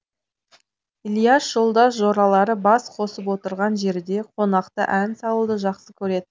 ілияс жолдас жоралары бас қосып отырған жерде қонақта ән салуды жақсы көрет